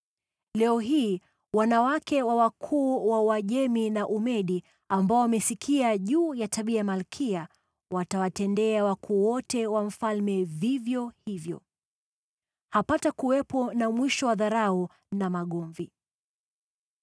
Leo hii wanawake wa wakuu wa Uajemi na Umedi ambao wamesikia juu ya tabia ya malkia watawatendea wakuu wote wa mfalme vivyo hivyo. Hapatakuwepo na mwisho wa dharau na magomvi.